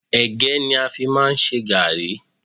Ẹ̀gẹ́ ni a fi máà ń ṣe gàrrí.